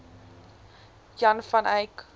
jan van eyck